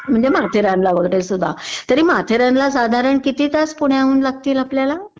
म्हणजे माथेरानला वगैरेसुद्धा.तरी माथेरानला साधारण किती तास आपल्याला?